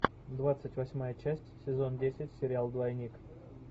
двадцать восьмая часть сезон десять сериал двойник